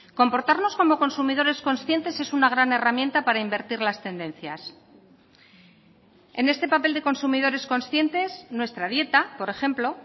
comportarnos como consumidores conscientes es una gran herramienta para invertir las tendencias en este papel de consumidores conscientes nuestra dieta por ejemplo